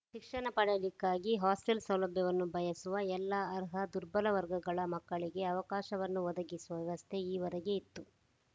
ಶಿಕ್ಷಣ ಪಡೆಯಲಿಕ್ಕಾಗಿ ಹಾಸ್ಟೆಲ್‌ ಸೌಲಭ್ಯವನ್ನು ಬಯಸುವ ಎಲ್ಲ ಅರ್ಹ ದುರ್ಬಲ ವರ್ಗಗಳ ಮಕ್ಕಳಿಗೆ ಅವಕಾಶವನ್ನು ಒದಗಿಸುವ ವ್ಯವಸ್ಥೆ ಈವರೆಗೆ ಇತ್ತು